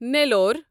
نیٖلور